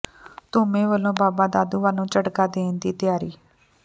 ਧੁਮੇਂ ਵੱਲੋਂ ਬਾਬਾ ਦਾਦੂਵਾਲ ਨੂੰ ਝਟਕਾ ਦੇਣ ਦੀ ਤਿਆਰੀ